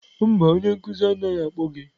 Mba onye nkuzi anaghị akpọ gị.